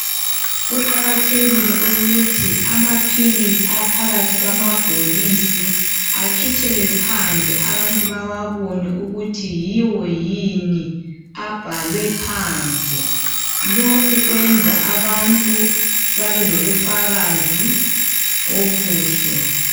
Kuqakathekile ukuthi amaphilisi aphakathi kwamabhokisi akhitshelwe phandle abantu bawabone ukuthi yiwo yini abhalwe phandle . Lokhu kuyenza abantu babelobufakazi obuhle